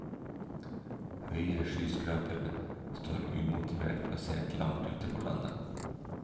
Høye skyskrapere står umotivert plassert langt ute på landet.